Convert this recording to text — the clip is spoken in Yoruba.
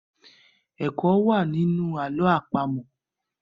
ẹkọ wá nínú àlọ́ àpamọ̀.